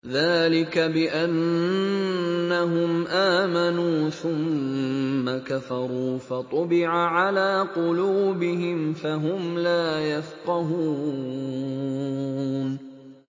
ذَٰلِكَ بِأَنَّهُمْ آمَنُوا ثُمَّ كَفَرُوا فَطُبِعَ عَلَىٰ قُلُوبِهِمْ فَهُمْ لَا يَفْقَهُونَ